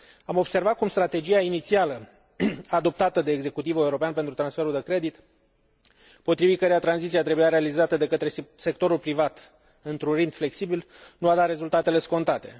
Am observat cum strategia inițială, adoptată de executivul european pentru transferul de credit, potrivit căreia tranziția trebuia realizată de către sectorul privat într un ritm flexibil, nu a dat rezultatele scontate.